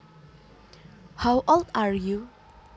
How old are you